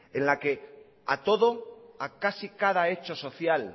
en la que a todo a casi cada hecho social